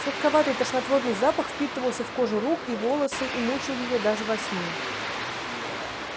сладковатый тошнотворный запах впитывался в кожу рук и в волосы и мучил её даже во сне